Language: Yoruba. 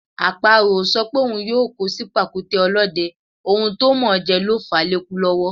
Àparò ò sọ pé òun yóò kó sí pàkúté ọlọ́dẹ, ohun tó mọ̀ọ́ jẹ ló fàá lékú lọ́wọ́.